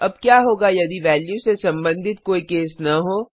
अब क्या होगा यदि वैल्यू से संबंधित कोई केस न हो